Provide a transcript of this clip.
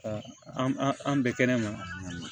an bɛ kɛnɛma